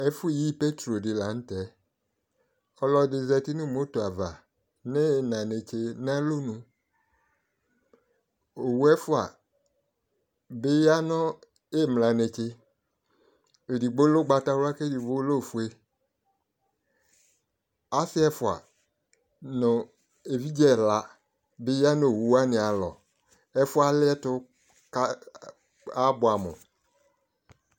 Ɛfʋ yi petrolɛ dɩ la n'tɛ Ɔlɔdɩ zati nʋ moto ava n'iina netse n'alɔnu Owu ɛfua bɩ ya nʋ iimla netse, edigbo lɛ ʋgbatawla k'eɖigbo lɛ ofue Asɩ ɛfua nʋ evidze ɛla bɩ ya nʋ owuwanɩ alɔ Ɛfʋ yɛ aliɛtʋ k'abʋɛ amʋ